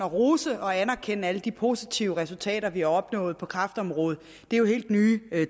rose og anerkende alle de positive resultater vi har opnået på kræftområdet det er jo helt nye